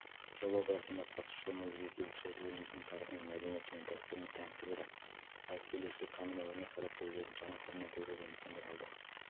жоба барысында қатысушылар музейге келушілерді еліміздің тарихы мәдениеті және дәстүрімен таныстырды ал келушілер танымал өнер қайраткерлерін жаңа қырынан көруге мүмкіндік алды